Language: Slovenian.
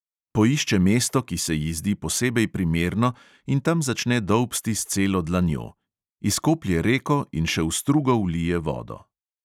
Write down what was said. Poišče mesto, ki se ji zdi posebej primerno, in tam začne dolbsti s celo dlanjo; izkoplje reko in še v strugo vlije vodo.